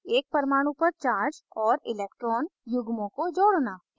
एक परमाणु पर charge और electron युग्मों को जोड़ना